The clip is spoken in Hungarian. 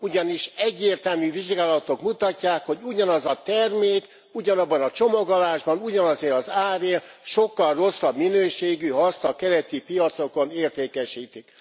Ugyanis egyértelmű vizsgálatok mutatják, hogy ugyanaz a termék, ugyanabban a csomagolásban, ugyanazért az árért sokkal rosszabb minőségű, ha a keleti piacokon értékesítik.